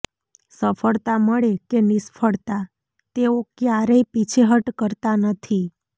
સફળતા મળે કે નિષ્ફળતા તેઓ ક્યારેય પીછેહટ કરતા નથી